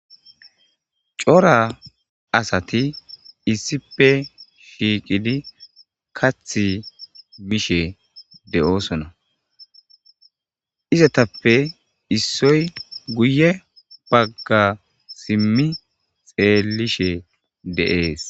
Cora asati issipe shiiqidi kath bishe de'oosona izatappe issoy guye bagga simmi xeellishe deees